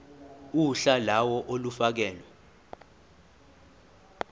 uhla lawo olufakelwe